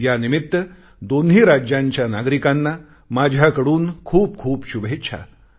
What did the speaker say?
या निमित्त दोन्ही राज्यांच्या नागरिकांना माझ्याकडून खूपखूप शुभेच्छा